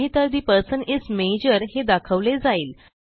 नाहीतर the person is major हे दाखवले जाईल